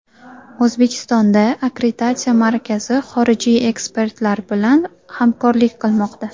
O‘zbekistonda Akkreditatsiya markazi xorijiy ekspertlar bilan hamkorlik qilmoqda.